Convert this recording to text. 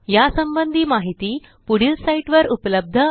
या संबंधी माहिती पुढील साईटवर उपलब्ध आहे